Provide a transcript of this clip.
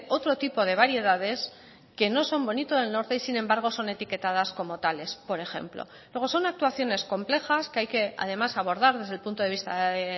otro tipo de variedades que no son bonito del norte y sin embargo son etiquetadas como tales por ejemplo luego son actuaciones complejas que hay que además abordar desde el punto de vista de